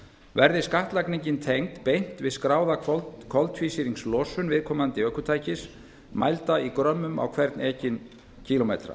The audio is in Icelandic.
verði skattlagningin tengd beint við skráða koltvísýringslosun viðkomandi ökutækis mælda í grömmum á hvern ekinn kílómetra